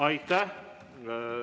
Aitäh!